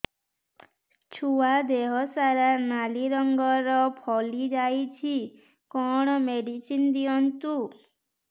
ଛୁଆ ଦେହ ସାରା ନାଲି ରଙ୍ଗର ଫଳି ଯାଇଛି କଣ ମେଡିସିନ ଦିଅନ୍ତୁ